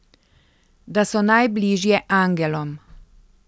Da so najbliže angelom.